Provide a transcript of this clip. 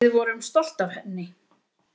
Við vorum stolt af henni.